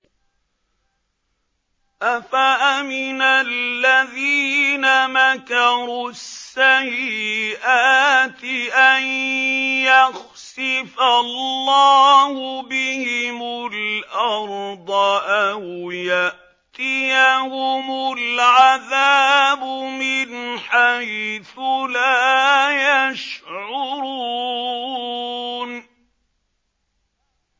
أَفَأَمِنَ الَّذِينَ مَكَرُوا السَّيِّئَاتِ أَن يَخْسِفَ اللَّهُ بِهِمُ الْأَرْضَ أَوْ يَأْتِيَهُمُ الْعَذَابُ مِنْ حَيْثُ لَا يَشْعُرُونَ